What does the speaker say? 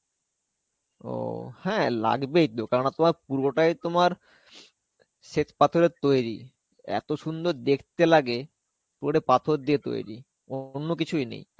ও. হ্যাঁ, লাগবেই তো কেননা তোমার পুরোটা তোমার শ্বেতপাথরের তৈরী. এত সুন্দর দেখতে লাগে, পুরোটা পাথর দিয়ে তৈরী. অন্য কিছুই নেই.